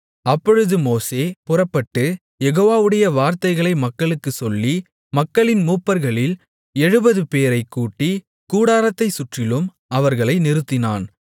அப்பொழுது மோசே புறப்பட்டு யெகோவாவுடைய வார்த்தைகளை மக்களுக்குச் சொல்லி மக்களின் மூப்பர்களில் எழுபதுபேரைக் கூட்டி கூடாரத்தைச் சுற்றிலும் அவர்களை நிறுத்தினான்